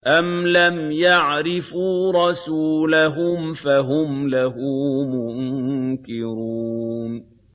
أَمْ لَمْ يَعْرِفُوا رَسُولَهُمْ فَهُمْ لَهُ مُنكِرُونَ